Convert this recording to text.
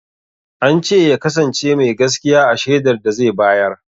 Ance ya kasance mai gaskiya a shaidar da zai bayar